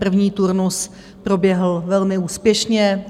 První turnus proběhl velmi úspěšně.